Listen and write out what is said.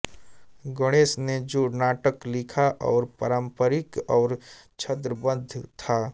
गणेश ने जो नाटक लिखा वह पारम्परिक और छन्दबद्ध था